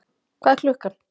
Hvað er klukkan?